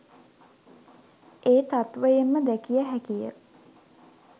ඒ තත්ත්වයෙන්ම දැකිය හැකි ය.